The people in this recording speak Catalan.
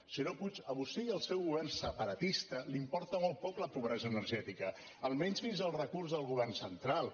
senyor puig a vostè i al seu govern separatista els importa molt poc la pobresa energètica almenys fins al recurs del govern central